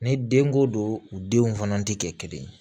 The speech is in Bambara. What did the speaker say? Ni denko don u denw fana tɛ kɛ kelen ye